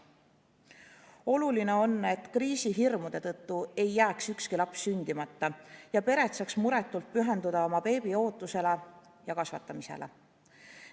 Oluline on, et kriisihirmude tõttu ei jääks ükski laps sündimata ja pered saaks muretult pühenduda beebi ootamisele ja kasvatamisele.